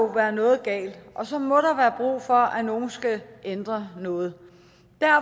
være noget galt og så må der være brug for at nogen skal ændre noget